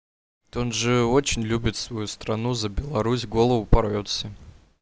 тут же очень любит свою стран за беларусь голову порвёт всем